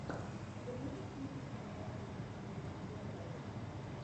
ты можешь включить кинокартину в стилистике биографии